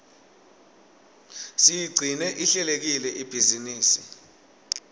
siyigcine ihlelekile ibhizinisi